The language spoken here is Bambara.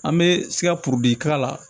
An bɛ si ka porodi k'a la